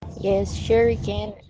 ящерица